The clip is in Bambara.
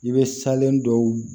I bɛ salen dɔw